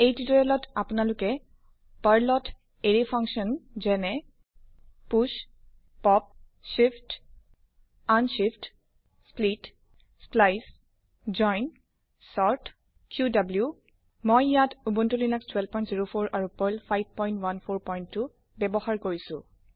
এই নিৰ্দেশনা ত আপোনালোকে পাৰ্ল ত এৰে ফাংছন যেনে 000011 000010 push push pop pop shift shift unshift unshift split split splice splice join join sort sort qwকিউ ডাব্লিউ মই ইয়াত উবুনটো লিনাস1204 আৰু পাৰ্ল 5142 ব্যবহাৰ কৰিছো